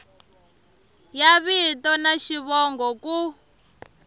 ya vito na xivongo ku